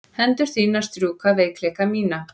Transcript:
Hendur þínar strjúka veikleika mína.